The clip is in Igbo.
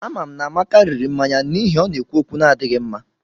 Amam na Amaka riri mmanya n'ihi o na-ekwu okwu n'adighi nma